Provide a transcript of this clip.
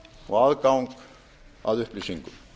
og aðgang að upplýsingum